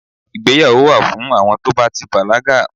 ìgbéyàwò wa fún àwọn to ba ti bàlágà